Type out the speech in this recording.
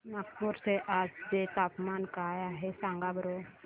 नागपूर चे आज चे तापमान काय आहे सांगा बरं